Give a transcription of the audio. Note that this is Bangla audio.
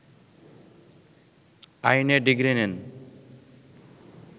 আইনে ডিগ্রি নেন